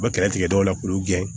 U bɛ kɛlɛ tigɛ dɔw la k'olu gɛn